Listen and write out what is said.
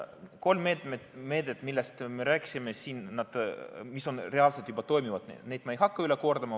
Kolme meedet, millest me rääkisime, mis reaalselt juba toimivad, ma ei hakka üle kordama.